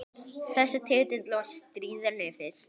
Þessi titill var stríðni fyrst.